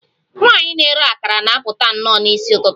Nwanyị na-ere akara na-apụta nnọọ n'isi ụtụtụ